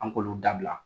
An k'olu dabila